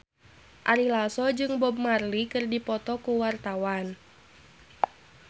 Ari Lasso jeung Bob Marley keur dipoto ku wartawan